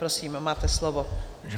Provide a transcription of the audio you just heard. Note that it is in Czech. Prosím, máte slovo.